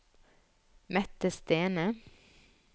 Mette Stene